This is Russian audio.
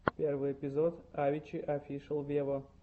первый эпизод авичи офишел вево